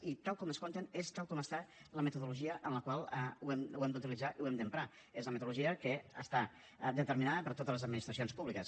i tal com es compta és tal com és la metodologia amb la qual ho hem d’utilitzar i ho hem d’emprar és la metodologia que està determinada per a totes les administracions públiques